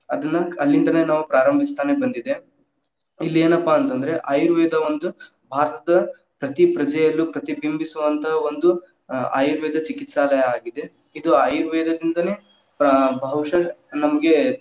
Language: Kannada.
ಅದ್ನ್‌ ಅಲ್ಲಿಂತಲೇ ನಾವ್‌ ಪ್ರಾರಂಭಿಸ್ತಾನೇ ಬಂದಿದೆ, ಇಲ್ಲಿ ಏನಪ್ಪಾ ಅಂತಂದ್ರೆ ಆಯುರ್ವೇದ ಒಂದ್‌ ಭಾರತದ ಪ್ರತಿ ಪ್ರಜೆಯಲ್ಲೂ ಪ್ರತಿಬಿಂಬಿಸುವಂತಹ ಒಂದು ಆ ಆಯುರ್ವೇದ ಚಿಕಿತ್ಸಾಲಯ ಆಗಿದೆ, ಇದು ಆಯುರ್ವೇದದಿಂದನೂ ಆ ಬಹುಷಾ ನಮ್ಗೆ.